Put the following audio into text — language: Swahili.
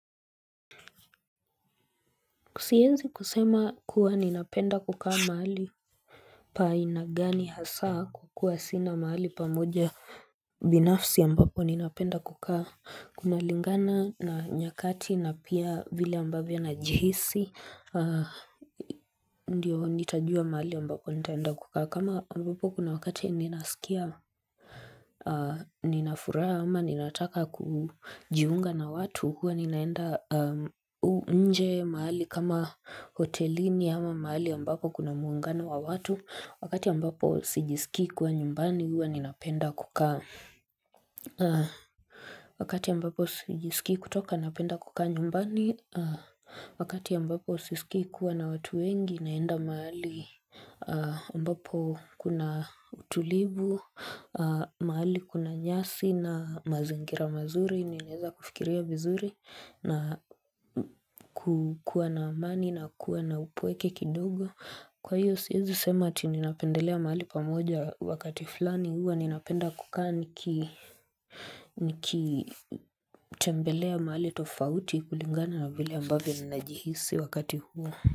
Siwezi kusema kuwa ninapenda kukaa mahali pa aina gani hasaa kukua sina mahali pamoja binafsi ambapo ninapenda kukaa kunalingana na nyakati na pia vile ambavyo na jihisi ndio nitajua mahali ambapo nitaenda kukaa kama ambapo kuna wakati ninasikia Ninafuraha ama ninataka kujiunga na watu huwa ninaenda nje mahali kama hotelini ama mahali ambapo kuna muungano wa watu wakati ambapo sijisikii kua nyumbani huwa ninapenda kukaa Wakati ambapo sijisikii kutoka napenda kukaa nyumbani wakati ambapo sijiskii kuwa na watu wengi naenda mahali ambapo kuna utulivu mahali kuna nyasi na mazingira mazuri, ninaeza kufikiria vizuri na kukuwa na amani na kuwa na upweke kidogo Kwa hiyo siezi sema ati ninapendelea mahali pamoja wakati fulani huwa, ninapenda kukaa niki nikitembelea mahali tofauti kulingana na vile ambavyo ninajihisi wakati huo.